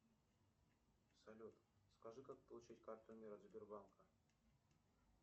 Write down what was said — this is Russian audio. салют скажи как получить карту мир от сбербанка